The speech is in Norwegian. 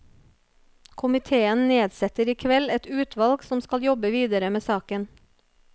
Komitéen nedsetter i kveld et utvalg som skal jobbe videre med saken.